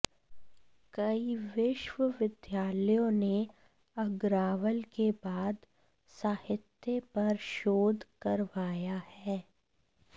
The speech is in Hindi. कई विश्वविद्यालयों ने अग्रावल के बाल साहित्य पर शोध करवाया है